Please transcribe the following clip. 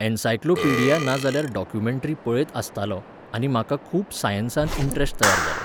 Encyclopaedia ना जाल्यार documentary पळयत आसतालों, आनी म्हाका खूब सायन्सांत इंटरॅस्ट तयार जालो.